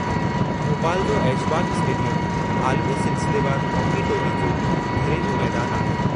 भोपाल जो ऐशबाग़ स्टेडियम आलमी सिलसिलेवारु हॉकी टोली जो घरेलू मैदान आहे।